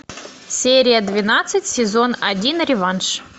серия двенадцать сезон один реванш